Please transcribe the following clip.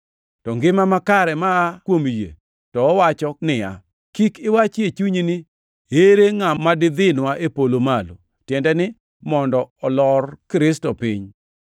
To ngima makare maa kuom yie to wacho niya, “Kik iwach e chunyi ni, ‘Ere ngʼama didhinwa e polo malo?’ ”+ 10:6 \+xt Rap 30:12\+xt* (tiende ni, mondo olor Kristo piny),